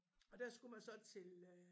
Og der skulle man så til øh